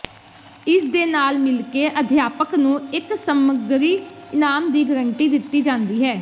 ਇਸਦੇ ਨਾਲ ਮਿਲ ਕੇ ਅਧਿਆਪਕ ਨੂੰ ਇੱਕ ਸਮਗਰੀ ਇਨਾਮ ਦੀ ਗਰੰਟੀ ਦਿੱਤੀ ਜਾਂਦੀ ਹੈ